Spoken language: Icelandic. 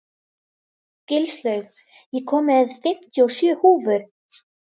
Gilslaug, ég kom með fimmtíu og sjö húfur!